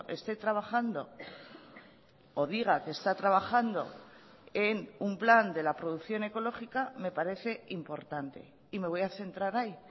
esté trabajando o diga que está trabajando en un plan de la producción ecológica me parece importante y me voy a centrar ahí